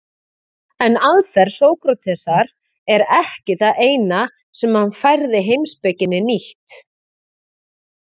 En aðferð Sókratesar er ekki það eina sem hann færði heimspekinni nýtt.